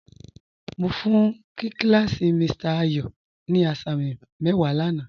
Mo fún kí làsí Mr. Ayo ní àsàmì mẹ́wà láńà.